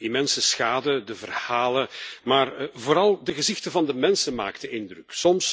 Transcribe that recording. De immense schade, de verhalen, maar vooral de gezichten van de mensen maakten indruk.